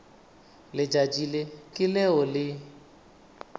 letšatši le ke leo le